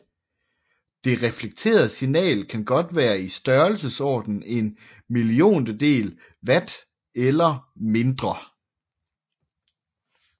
Det reflekterede signal kan godt være i størrelsesordenen en milliontedel watt eller mindre